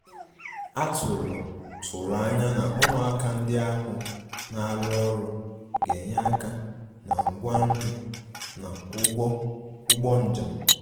A tụ̀rụ̀ tụ̀rụ̀ ànyà na ụmụàkà ndí ahụ̀ na-arụ́ ọrụ gā-ényè aka na ngwá nri na ụ̀gwọ̀ ùgbò njem.